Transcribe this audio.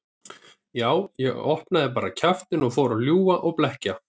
Já, ég opnaði bara kjaftinn og fór að ljúga og blekkja.